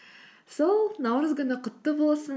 сол наурыз күні құтты болсын